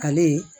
Ale ye